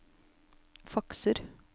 fakser